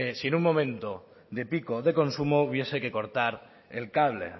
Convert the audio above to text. si en un momento de pico de consumo hubiese que cortar el cable